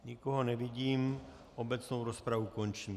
Nikoho nevidím, obecnou rozpravu končím.